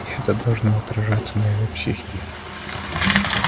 и это должно отражаться на его психике